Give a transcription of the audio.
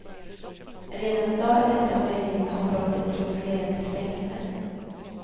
Redan i dag är detta möjligt om brottet tros leda till fängelse.